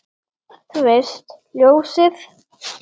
Þú veist, ljósið